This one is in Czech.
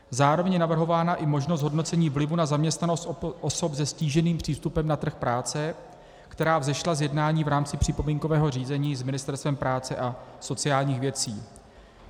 Zároveň je navrhována i možnost hodnocení vlivu na zaměstnanost osob se ztíženým přístupem na trh práce, která vzešla z jednání v rámci připomínkového řízení s Ministerstvem práce a sociálních věcí.